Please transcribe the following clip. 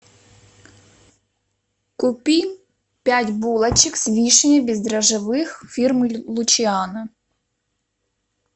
купи пять булочек с вишней без дрожжевых фирмы лучиано